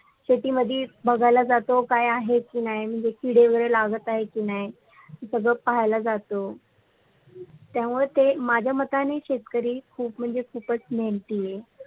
शेतीमध्ये बगायला जातो क्या आहे कि नाही किंवा किडे वगैरे लावलत आहेत कि नाही सगड पाहायला जातो त्यामुळेते माजा मतानी शेतकरी खुप म्णजे खुपच मेहेनतीय